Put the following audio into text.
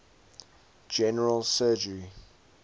general surgery